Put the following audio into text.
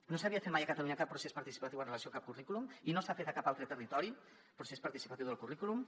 no s’havia fet mai a catalunya cap procés participatiu amb relació a cap currículum i no s’ha fet a cap altre territori un procés participatiu del currículum